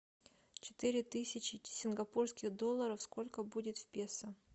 четыре тысячи сингапурских долларов сколько будет в песо